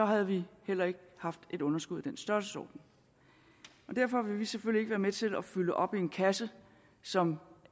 havde vi heller ikke haft et underskud i den størrelsesorden derfor vil vi selvfølgelig ikke være med til at fylde op i en kasse som